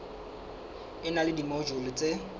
e na le dimojule tse